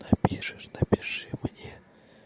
напишешь напиши мне